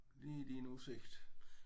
Lige i din udsigt